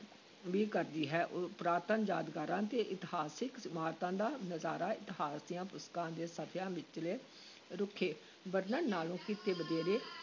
ਵੀ ਕਰਦੀ ਹੈ, ਪੁਰਾਤਨ ਯਾਦਗਾਰਾਂ ਤੇ ਇਤਿਹਾਸਕ ਇਮਾਰਤਾਂ ਦਾ ਨਜ਼ਾਰਾ ਇਤਿਹਾਸ ਦੀਆਂ ਪੁਸਤਕਾਂ ਦੇ ਸਫ਼ਿਆਂ ਵਿਚਲੇ ਰੁੱਖੇ ਵਰਣਨ ਨਾਲੋਂ ਕਿਤੇ ਵਧੇਰੇ